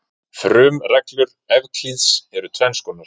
Frumreglur Evklíðs eru tvenns konar.